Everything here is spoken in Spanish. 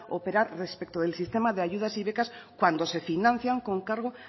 operar respecto del sistema de ayudas y becas cuando se financian con cargo